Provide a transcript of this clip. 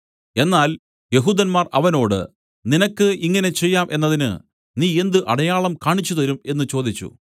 എന്നാൽ യെഹൂദന്മാർ അവനോട് നിനക്ക് ഇങ്ങനെ ചെയ്യാം എന്നതിന് നീ എന്ത് അടയാളം കാണിച്ചുതരും എന്നു ചോദിച്ചു